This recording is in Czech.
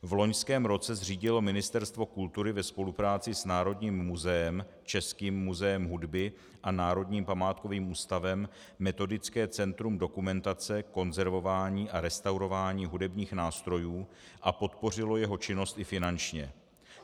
V loňském roce zřídilo Ministerstvo kultury ve spolupráci s Národním muzeem, Českým muzeem hudby a Národním památkovým ústavem metodické centrum dokumentace konzervování a restaurování hudebních nástrojů a podpořilo jeho činnost i finančně.